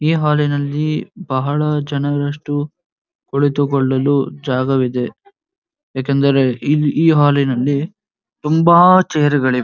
ಈ ಹಾಲಿನಲ್ಲಿ ಬಹಳ ಜನರಷ್ಟು ಕುಳಿತುಕೊಳ್ಳಲು ಜಾಗವಿದೆ ಯಾಕೆಂದರೆ ಈ ಹಾಲಿನಲ್ಲಿ ತುಂಬಾ ಚೇರ್ ಗಳಿವೆ. .